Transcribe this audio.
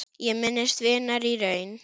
Ég minnist vinar í raun.